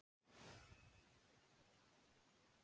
Hálka og hálkublettir um allt land